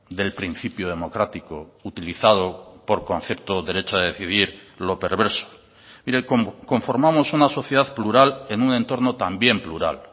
del principio democrático utilizado por concepto derecho a decidir lo perverso mire conformamos una sociedad plural en un entorno también plural